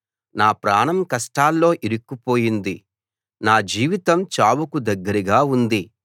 నా ప్రాణం కష్టాల్లో ఇరుక్కుపోయింది నా జీవితం చావుకు దగ్గరగా ఉంది